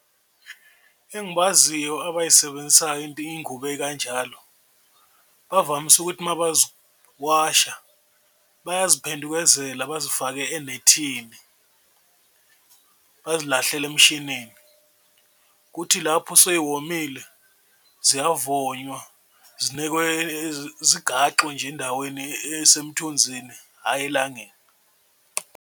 Engibaziyo abayisebenzisayo iy'ngubo ey'kanjalo bavamise ukuthi uma bazowasha bayaziphendukezela bazifake enethini, bazilahlele emshinini. Kuthi lapho sey'womile, ziyavonywa zinekwe zigaxwe nje endaweni esemthunzini, hhayi elangeni.